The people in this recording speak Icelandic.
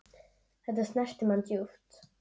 Þetta snerti mann djúpt.